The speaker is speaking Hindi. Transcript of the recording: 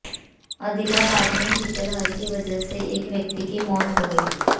अदिलाबाद में शीतलहर की वजह से एक व्यक्ति की मौत हो गई है